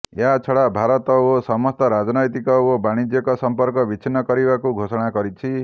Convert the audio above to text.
ଏହା ଛଡା ଭାରତ ସହ ସମସ୍ତ ରାଜନୈତିକ ଓ ବାଣିଜ୍ୟିକ ସମ୍ପର୍କ ବିଛିନ୍ନ କରିବାକୁ ଘୋଷଣା କରିଛି